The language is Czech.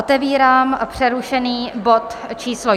Otevírám přerušený bod číslo